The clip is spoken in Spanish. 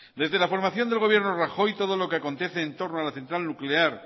desde la formación del gobierno rajoy todo lo que acontece entorno a la central nuclear